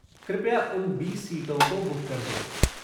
कृपया उन बीस सीटों को बुक कर दें।